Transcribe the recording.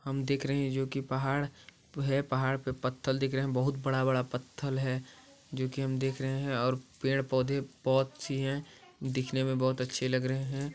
हम देख रहे है जो की पहाड़ है पहाड़ पर पत्थल दिख रहे है बहुत बड़ा-बड़ा पत्थल है जोकि हम देख रहे और पेड़ पौधे बहुत सी है दिखने में बहुत अच्छे लग रहे हैं।